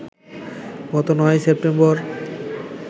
গত ৯ সেপ্টেম্বর